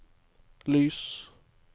lys